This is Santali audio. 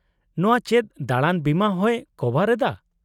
-ᱱᱚᱶᱟ ᱪᱮᱫ ᱫᱟᱬᱟᱱ ᱵᱤᱢᱟ ᱦᱚᱸᱭ ᱠᱚᱵᱷᱟᱨ ᱮᱫᱟ ?